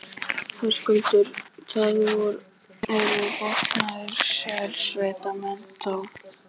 Höskuldur: Það eru vopnaðir sérsveitarmenn, þá?